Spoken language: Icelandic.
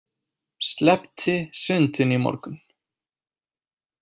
Sleppti sundinu í morgun.